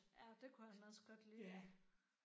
Ja det kunne han også godt lide